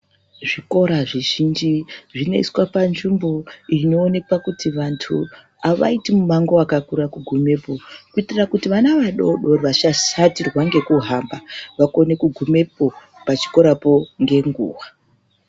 Zvikora zvizhinji zvinoiswa panzvimbo, inoonekwa kuti vantu avaiti mumango wakakura kugumepo, kuitira kuti vana vadodori vasashatirwa ngekuhamba vakone kugumepo pachikorapo ngenguwa.